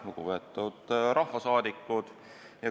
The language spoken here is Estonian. Lugupeetud rahvasaadikud!